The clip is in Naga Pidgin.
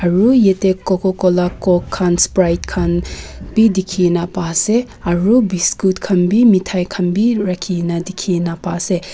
aru yatey coca cola coke khan sprite khan bi dikhigena pase aru biscoot khan bi mithai khan bi rakhigena dikhigena paise.